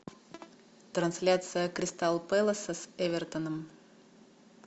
трансляция кристал пэласа с эвертоном